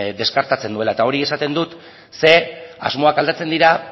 deskartatzen duela eta hori esaten dut ze asmoak aldatzen dira